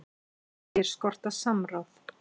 Segir skorta samráð